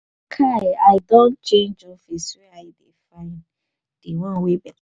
kai i don to change office were i dey find di one wey beta.